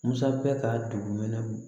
Musa bɛ ka dugumɛnɛ